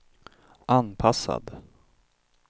anpassad